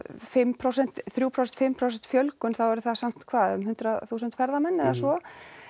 fimm prósent þrjú prósent fimm prósent fjölgun þá eru það samt hvað um hundrað þúsund ferðamenn eða svo